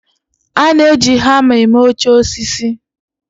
A na-eji hama eme oche osisi.